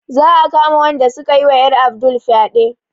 Za a kama wanda sukayi wa ƴar Abdul fyaɗe